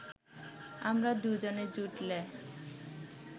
আমরা দুজনে জুটলে